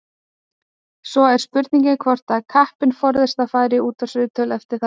Svo er spurning hvort að kappinn forðist að fara í útvarpsviðtöl eftir þetta.